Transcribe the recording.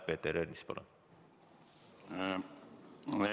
Peeter Ernits, palun!